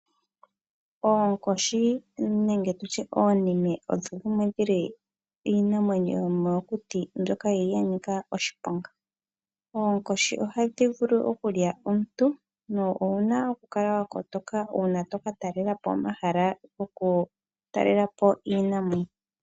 Oonkoshi nenge tutye oonime odho dhimwe dhomiinamwenyo yomokuti mbyoka yi li ya nika oshiponga. Oonkoshi ohadhi vulu okulya omuntu, na ouna okukala wakotoka uuna to ka talelapo omahala goku talelapo iinamwenyo.